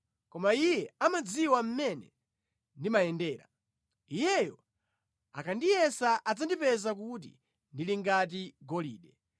Koma Iye amadziwa mmene ndimayendera; Iyeyo akandiyesa adzandipeza kuti ndili ngati golide.